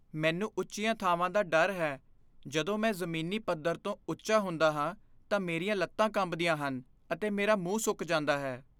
ਮੈਨੂੰ ਉੱਚੀਆਂ ਥਾਵਾਂ ਦਾ ਡਰ ਹੈ। ਜਦੋਂ ਮੈਂ ਜ਼ਮੀਨੀ ਪੱਧਰ ਤੋਂ ਉੱਚਾ ਹੁੰਦਾ ਹਾਂ ਤਾਂ ਮੇਰੀਆਂ ਲੱਤਾਂ ਕੰਬਦੀਆਂ ਹਨ, ਅਤੇ ਮੇਰਾ ਮੂੰਹ ਸੁੱਕ ਜਾਂਦਾ ਹੈ।